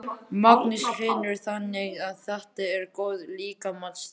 Magnús Hlynur: Þannig þetta er góð líkamsrækt?